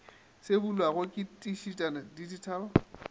se bulwago ke titšitale digital